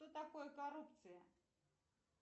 что такое коррупция